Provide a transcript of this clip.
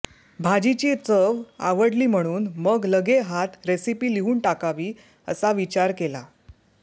भाजीची चव आवडली म्हणून मग लगे हात रेसीपी लिहून टाकावी असा विचार केला